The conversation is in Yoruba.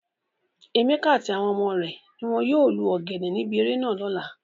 Emeka ati awon ọmọ re ni won yoo lu ogene nibi ere naa lola.